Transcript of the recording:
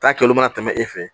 K'a kɛ olu mana tɛmɛ e fɛ